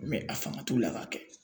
Ubiyɛn a fanga t'u la k'a kɛ